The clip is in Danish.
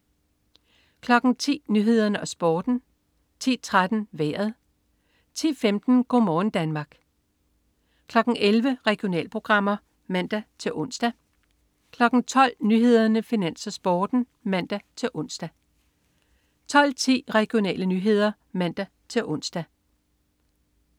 10.00 Nyhederne og Sporten 10.13 Vejret 10.15 Go' morgen Danmark 11.00 Regionalprogrammer (man-ons) 12.00 Nyhederne, Finans, Sporten (man-ons) 12.10 Regionale nyheder (man-ons)